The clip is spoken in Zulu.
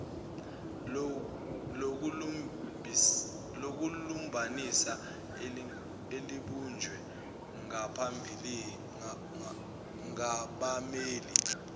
lokulumbanisa elibunjwe ngabammeli